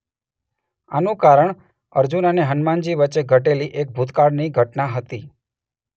આનું કારણ અર્જુન અને હનુમાનજી વચ્ચે ઘટેલી એક ભૂતકાળની ઘટના હતી.